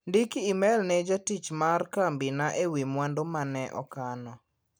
Ndiki imel ne jatich mar kambi na ewi mwandu mane okano .